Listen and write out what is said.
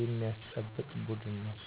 የሚያስጠብቅ ቡድን ነው።